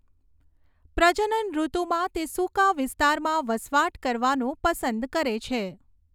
પ્રજનનઋતુમાં તે સૂકા વિસ્તારમાં વસવાટ કરવાનું પસંદ કરે છે.